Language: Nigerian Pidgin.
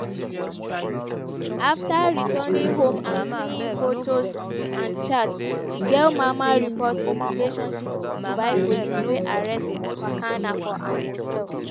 afta returning home and seeing fotos and chats di girl mama report di relationship to dubai police wey arrest fakana for im hotel.